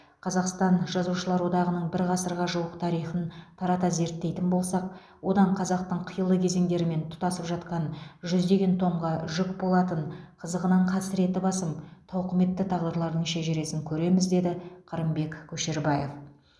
қазақстан жазушылар одағының бір ғасырға жуық тарихын тарата зерттейтін болсақ одан қазақтың қилы кезеңдерімен тұтасып жатқан жүздеген томға жүк болатын қызығынан қасіреті басым тауқыметті тағдырлардың шежіресін көреміз деді қырымбек көшербаев